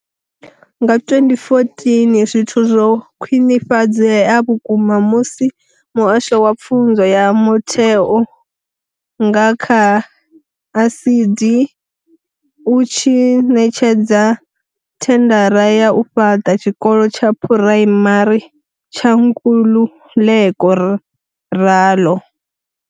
Nga 2014, zwithu zwo khwinifhadzea vhukuma musi muhasho wa pfunzo ya mutheo, nga kha ASIDI, u tshi ṋetshedza thendara ya u fhaṱa tshikolo tsha phuraimari tsha Nkululeko Ralo.